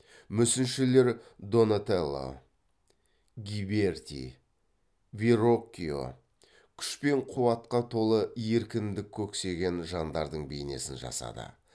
мүсіншілер донателло гиберти вероккьо күш пен қуатқа толы еркіндік көксеген жандардың бейнесін жасады